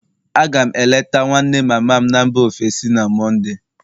A ga m eleta nwanne mama m na mba ofesi na Mọnde